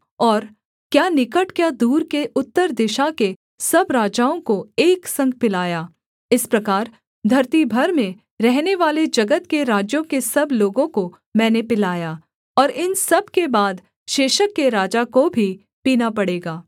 और क्या निकट क्या दूर के उत्तर दिशा के सब राजाओं को एक संग पिलाया इस प्रकार धरती भर में रहनेवाले जगत के राज्यों के सब लोगों को मैंने पिलाया और इन सब के बाद शेशक के राजा को भी पीना पड़ेगा